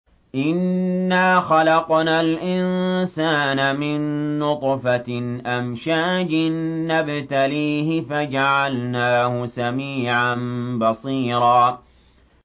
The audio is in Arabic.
إِنَّا خَلَقْنَا الْإِنسَانَ مِن نُّطْفَةٍ أَمْشَاجٍ نَّبْتَلِيهِ فَجَعَلْنَاهُ سَمِيعًا بَصِيرًا